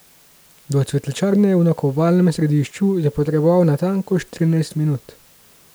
Do cvetličarne v nakupovalnem središču je potreboval natanko štirinajst minut.